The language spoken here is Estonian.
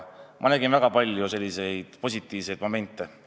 Ma nägin väga palju positiivseid momente.